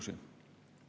Kell on üheksa läbi.